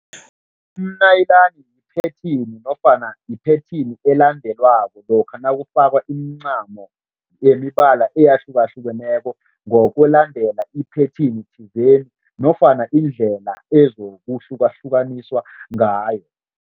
Umnayilani yiphethini nofana yiphethini elandelwako lokha nakufakwa imincamo yemibala eyahlukahlukeneko ngokulandela iphethini thizeni nofana indlela ezokuhlukahlukaniswa ngayo.